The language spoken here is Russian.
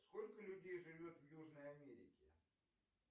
сколько людей живет в южной америке